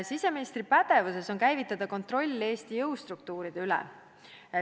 Siseministri pädevuses on käivitada kontroll Eesti jõustruktuuride üle.